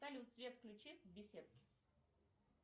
салют свет включи в беседке